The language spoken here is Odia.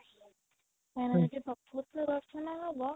କାହିଁକିନା ଯଦି ତମର ପ୍ରକୃତ ରେ ଦର୍ଶନ ହବ